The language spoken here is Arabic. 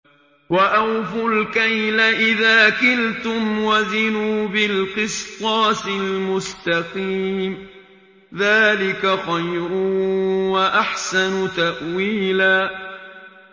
وَأَوْفُوا الْكَيْلَ إِذَا كِلْتُمْ وَزِنُوا بِالْقِسْطَاسِ الْمُسْتَقِيمِ ۚ ذَٰلِكَ خَيْرٌ وَأَحْسَنُ تَأْوِيلًا